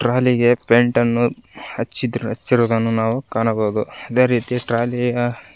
trolley ಗೆ paint ನ್ನು ಹಚ್ಚಿದ್ ಹಚ್ಚಿರುವುದನ್ನು ನಾವು ಕಾಣಬಹುದು ಅದೇ ರೀತಿ ಟ್ರಾಲಿಯ --